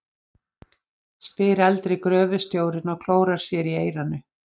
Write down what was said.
spyr eldri gröfustjórinn og klórar sér í eyranu.